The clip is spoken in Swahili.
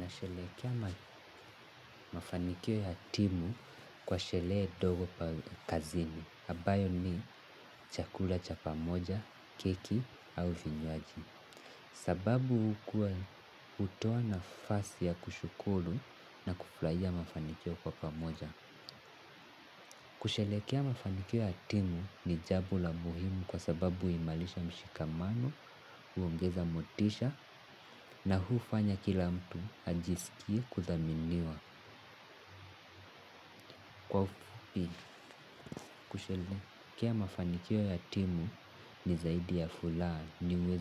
Nasherehekea mafanikio ya timu kwa sherehe ndogo kazini. Ambayo ni chakula cha pamoja, keki au vinywaji. Sababu hukuwa hutoa nafasi ya kushukuru na kufurahia mafanikio kwa pamoja. Kusherehekea mafanikio ya timu ni jambo la muhimu kwa sababu huimarisha mshikamano, huongeza motisha na hufanya kila mtu ajisikie kuthaminiwa kwa ufupi kusherehekea mafanikio ya timu ni zaidi ya furaha ni